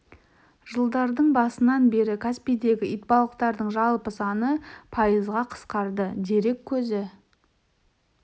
жылдардың басынан бері каспийдегі итбалықтардың жалпы саны пайызға қысқарды дерек көзі